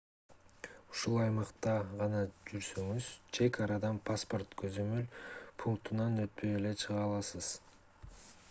ушул аймакта гана жүрсөңүз чек арадан паспорт көзөмөл пунктунан өтпөй эле чыга аласыз